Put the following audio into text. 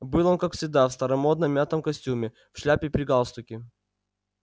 был он как всегда в старомодном мятом костюме в шляпе при галстуке